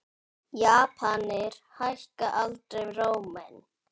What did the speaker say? Japanir hækka aldrei róminn.